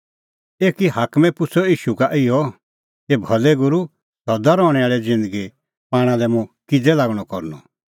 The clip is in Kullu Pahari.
एकी हाकमै पुछ़अ ईशू का इहअ हे भलै गूरू सदा रहणैं आल़ी ज़िन्दगी पाणा लै मुंह किज़ै लागणअ करनअ